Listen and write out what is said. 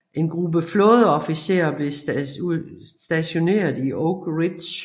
En gruppe flådeofficerer blev stationeret i Oak Ridge